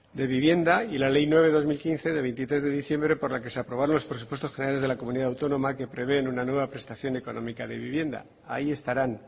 de vivienda y la ley nueve barra dos mil quince de veintitrés de diciembre por la que se aprobaron los presupuestos generales de la comunidad autónoma que prevén una nueva prestación económica de vivienda ahí estarán